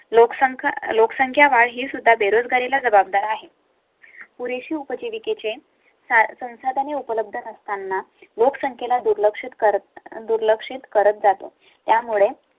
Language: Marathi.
लोकसंख्या, लोकसंख्या वाढ हीसुद्धा बेरोजगारी ला जबाबदार आहे. पुढे उपजीविके ची साधने उपलब्ध नसताना लोकसंख्ये ला दुर्लक्षित करत दुर्लक्षित करत जातो. त्यामुळे